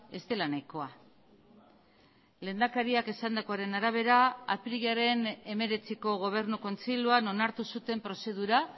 ez dela nahikoa lehendakariak esandakoaren arabera apirilaren hemeretziko gobernu kontseiluan onartu zuten prozedura